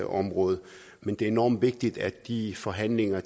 område men det er enormt vigtigt at de forhandlinger og